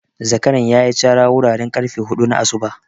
Zakaran ya yi cara wuraren ƙarfe hudu na asuba.